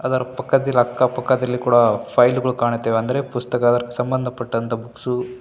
ಅದರ ಪಕ್ಕದಿಲ್ಲಕ್ಕ ಪಕ್ಕದಲ್ಲಿ ಕೂಡ ಫೈಲುಗಳು ಕಾಣುತ್ತವೆ ಅಂದರೆ ಪುಸ್ತಕ ಸಂಬಂಧ ಪಟ್ಟಂತ ಬುಕ್ಸು --